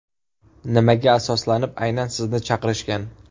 Nimaga asoslanib aynan sizni chaqirishgan?